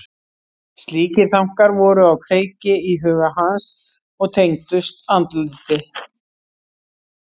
Slíkir þankar voru á kreiki í huga hans og tengdust andliti.